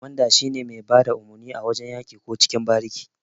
Ƙwamanda shine mai bada umurni a wajan yaki ko cikin bariki.